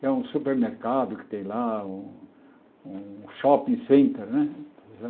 que é um supermercado que tem lá, um um shopping center, né?